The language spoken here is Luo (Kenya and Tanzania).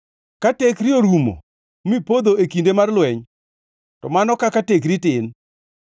Ka tekri orumo mipodho e kinde mar lweny, to mano kaka tekri tin!